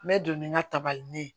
N bɛ don ni n ka tabali ɲɛ ye